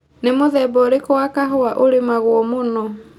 Nĩ mũthemba ũrĩkũ wa kahũa ũrĩmagwo mũno.